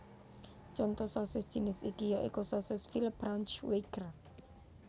Contho sosis jinis iki ya iku sosis Veal Braunschweiger